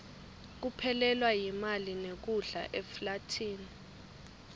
kuphelelwa yimali nekudla eflathini